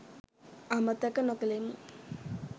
අමතක නොකෙලෙමු